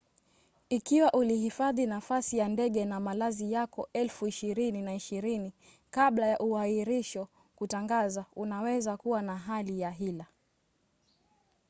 ikiwa ulihifadhi nafasi ya ndege na malazi yako 2020 kabla ya uahirisho kutangazwa unaweza kuwa na hali ya hila